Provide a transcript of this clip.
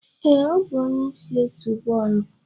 Ee, ọ bụ onye isi otu bọọlụ.